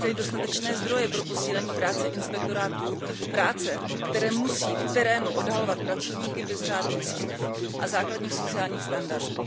zajistili dostatečné zdroje pro posílení práce inspektorátů práce, které musí v terénu odhalovat pracovníky bez řádných smluv a základních sociálních standardů.